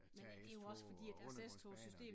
Tage S-tog og undergrundsbaner